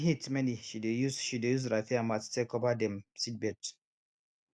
when heat many she dey use she dey use raffia mats take cover dem seedbeds